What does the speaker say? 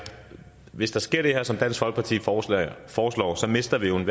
hvis der sker det her som dansk folkeparti foreslår foreslår mister vi